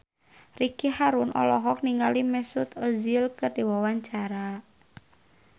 Ricky Harun olohok ningali Mesut Ozil keur diwawancara